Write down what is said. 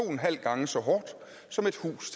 en halv gange så hårdt som et hus